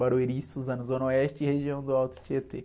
Barueri e Suzano, Zona Oeste e região do Alto Tietê.